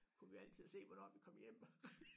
Kunne vi altid se hvornår vi kom hjem